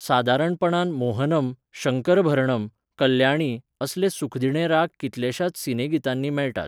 सादारणपणान मोहनम, शंकरभरणम, कल्याणी असले सुखदिणे राग कितल्याशाच सिनेगितांनी मेळटात.